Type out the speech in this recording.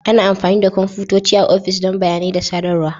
Ana amfani da kwamfutoci a ofis don bayanai da sadarwa.